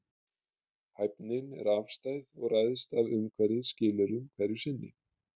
Hæfnin er afstæð og ræðst af umhverfisskilyrðum hverju sinni.